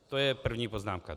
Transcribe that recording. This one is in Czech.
To je první poznámka.